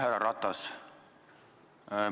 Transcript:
Härra Ratas!